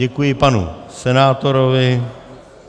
Děkuji panu senátorovi.